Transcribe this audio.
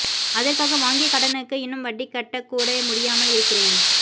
அதற்காக வாங்கிய கடனுக்கு இன்னும் வட்டி கட்டக்கூட முடியாமல் இருக்கிறேன்